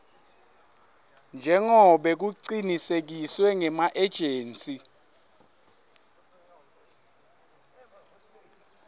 njengobe kucinisekiswe ngemaejensi